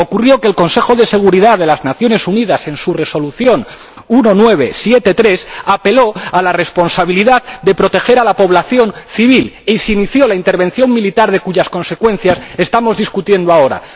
Ocurrió que el Consejo de Seguridad de las Naciones Unidas, en su Resolución 1973, apeló a la responsabilidad de proteger a la población civil y se inició la intervención militar, de cuyas consecuencias estamos discutiendo ahora.